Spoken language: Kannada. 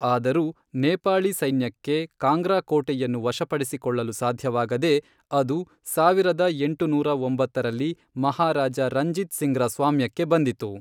ಆದರೂ, ನೇಪಾಳಿ ಸೈನ್ಯಕ್ಕೆ ಕಾಂಗ್ರಾ ಕೋಟೆಯನ್ನು ವಶಪಡಿಸಿಕೊಳ್ಳಲು ಸಾಧ್ಯವಾಗದೇ, ಅದು ಸಾವಿರದ ಎಂಟುನೂರ ಒಂಬತ್ತರಲ್ಲಿ ಮಹಾರಾಜಾ ರಂಜಿತ್ ಸಿಂಗ್‌ರ ಸ್ವಾಮ್ಯಕ್ಕೆ ಬಂದಿತು.